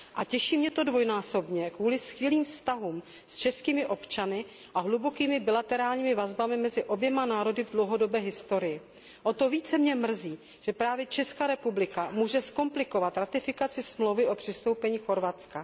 Těší mě to dvojnásobně kvůli skvělým vztahům s českými občany a hlubokým bilaterálním vazbám mezi oběma národy v dlouhodobé historii. O to více mě mrzí, že právě Česká republika může zkomplikovat ratifikaci Smlouvy o přistoupení Chorvatska.